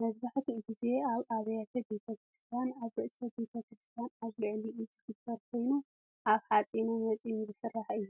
መብዛሕቲኡ ግዜ ኣብ ኣብያተ ቤተ ክርስትያናት ኣብ ርእሲ ቤት ክስርትያን ኣብ ልዕሊኡ ዝግበር ኮይኑ ካብ ሓፂነ መፂን ዝስራሕ እዩ።